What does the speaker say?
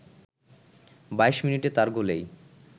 ২২ মিনিটে তার গোলেই